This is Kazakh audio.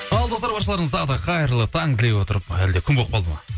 ал достар баршаларыңызға тағы да қайырлы таң тілей отырып әлде күн болып қалды ма